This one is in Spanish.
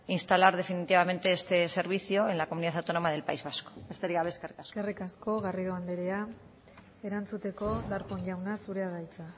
instalar definitivamente este servicio en la comunidad autónoma del país vasco besterik gabe eskerrik asko eskerrik asko garrido anderea erantzuteko darpón jauna zurea da hitza